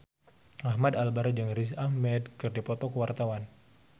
Ahmad Albar jeung Riz Ahmed keur dipoto ku wartawan